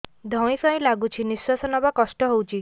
ଧଇଁ ସଇଁ ଲାଗୁଛି ନିଃଶ୍ୱାସ ନବା କଷ୍ଟ ହଉଚି